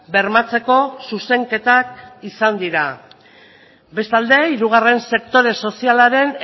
bermatzeko zuzenketak izan dira bestalde hirugarren sektore sozialaren